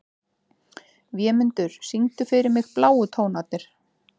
Vémundur, syngdu fyrir mig „Bláu tónarnir“.